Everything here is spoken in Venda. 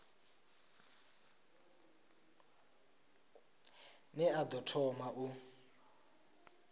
ne a ḓo thoma u